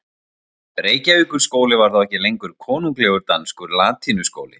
Reykjavíkurskóli var þá ekki lengur konunglegur danskur latínuskóli.